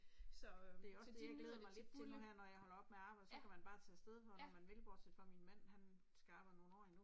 Det er også det jeg glæder mig lidt til nu her når jeg holder op med at arbejde så kan man bare tage afsted hvornår man vil bortset fra min man han skal arbejde nogle år endnu